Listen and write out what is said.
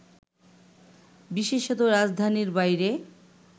বিশেষত, রাজধানীর বাইরে